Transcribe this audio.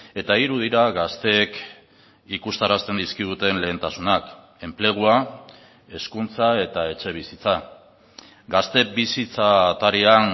eta hiru dira gazteek ikustarazten dizkiguten lehentasunak enplegua hezkuntza eta etxebizitza gaztebizhitza atarian